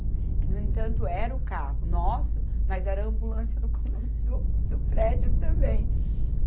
Que, no entanto, era o carro nosso, mas era a ambulância do condomi, do, do prédio também.